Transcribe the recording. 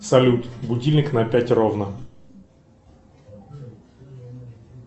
салют будильник на пять ровно